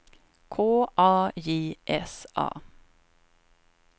K A J S A